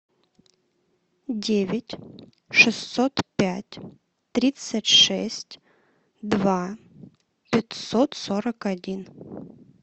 девять шестьсот пять тридцать шесть два пятьсот сорок один